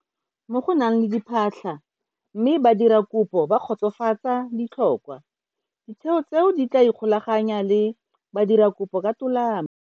Mo go nang le diphatlha mme badirakopo ba kgotsofatsa ditlhokwa, ditheo tseo di tla ikgolaganya le badirakopo ka tolamo.